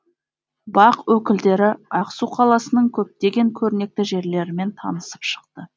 бақ өкілдері ақсу қаласының көптеген көрнекті жерлерімен танысып шықты